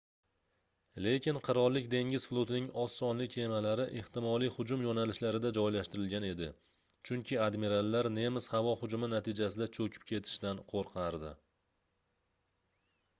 lekin qirollik dengiz flotining oz sonli kemalari ehtimoliy hujum yoʻnalishlarida joylashtirilgan edi chunki admirallar nemis havo hujumi natijasida choʻkib ketishdan qoʻrqardi